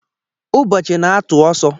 Ụbọchị na-atụ ọsọ